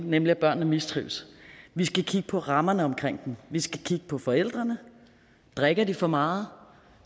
nemlig at børnene mistrives vi skal kigge på rammerne omkring dem vi skal kigge på forældrene drikker de for meget